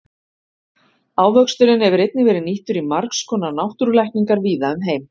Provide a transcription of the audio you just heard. Ávöxturinn hefur einnig verið nýttur í margs konar náttúrulækningar víða um heim.